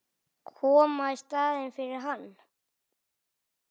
Koma í staðinn fyrir hann.